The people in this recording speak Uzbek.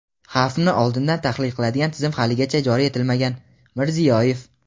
Xavfni oldindan tahlil qiladigan tizim haligacha joriy etilmagan – Mirziyoyev.